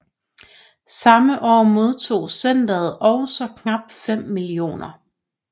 Samme år modtog centret også knap 5 mio